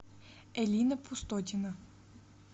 элина пустотина